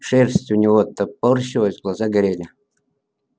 шерсть у него топорщилась глаза горели